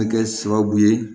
Kɛ sababu ye